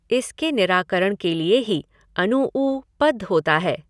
इसके निराकरण के लिए ही अनूऊ पद होता है।